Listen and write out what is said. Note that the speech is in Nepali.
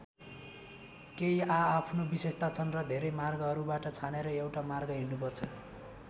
केही आआफ्नो विशेषता छन् र धेरै मार्गहरूबाट छानेर एउटा मार्ग हिँड्नुपर्छ।